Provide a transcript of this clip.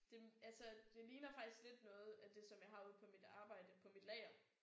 Det altså det ligner faktisk lidt noget af det som jeg har ude på mit arbejde på mit lager